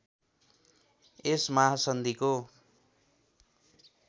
यस महासन्धिको